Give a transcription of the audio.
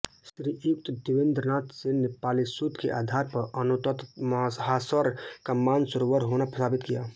श्रीयुत देवेन्द्रनाथ सेन ने पालीसुत्त के आधार पर अनोतत्तमहासर का मानसरोवर होना साबित किया है